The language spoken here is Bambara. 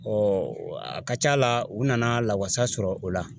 a ka ca a la u nana lawasa sɔrɔ o la